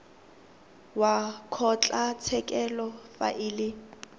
wa kgotlatshekelo fa e le